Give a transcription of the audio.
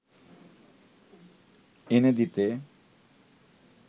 এনে দিতে